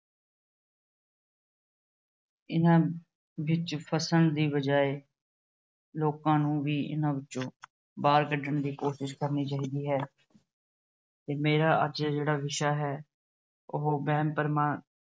ਇਹਨਾਂ ਵਿੱਚ ਫਸਣ ਦੀ ਬਜਾਏ ਲੋਕਾਂ ਨੂੰ ਵੀ ਇਹਨਾਂ ਵਿੱਚੋਂ ਬਾਹਰ ਕੱਢਣ ਦੀ ਕੋਸ਼ਿਸ਼ ਕਰਨੀ ਚਾਹੀਦੀ ਹੈ। ਮੇਰਾ ਅੱਜ ਜਿਹੜਾ ਵਿਸ਼ਾ ਹੈ ਉਹ ਵਹਿਮ-ਭਰਮਾਂ